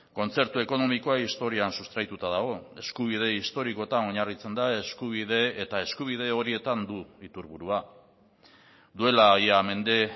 kontzertu ekonomikoa historian sustraituta dago eskubide historikoetan oinarritzen da eskubide eta eskubide horietan du iturburua duela ia mende